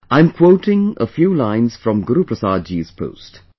I am quoting a few lines from Guruprasad ji's post